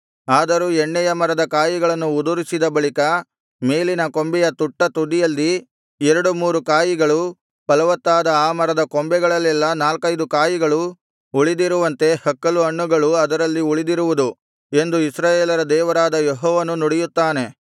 ಆದರೂ ಎಣ್ಣೆಯ ಮರದ ಕಾಯಿಗಳನ್ನು ಉದುರಿಸಿದ ಬಳಿಕ ಮೇಲಿನ ಕೊಂಬೆಯ ತುಟ್ಟತುದಿಯಲ್ಲಿ ಎರಡು ಮೂರು ಕಾಯಿಗಳು ಫಲವತ್ತಾದ ಆ ಮರದ ಕೊಂಬೆಗಳಲ್ಲೆಲ್ಲಾ ನಾಲ್ಕೈದು ಕಾಯಿಗಳು ಉಳಿದಿರುವಂತೆ ಹಕ್ಕಲುಹಣ್ಣುಗಳು ಅದರಲ್ಲಿ ಉಳಿದಿರುವುದು ಎಂದು ಇಸ್ರಾಯೇಲರ ದೇವರಾದ ಯೆಹೋವನು ನುಡಿಯುತ್ತಾನೆ